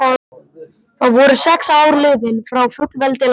Þá voru sex ár liðin frá fullveldi landsins.